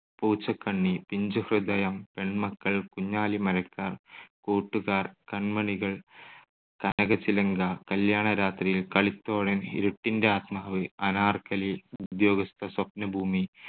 Poochakanni, Pinchuhridayam, Penmakkal, Kunjali Marakkar, Koottukar, Kanmanikal, Kanakachilanka, Kalyanarathriyil, Kalithozhan, Iruttinte Athmavu, Anarkali, Udyogastha, Swapnabhoomi,